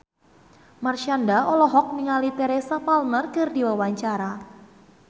Marshanda olohok ningali Teresa Palmer keur diwawancara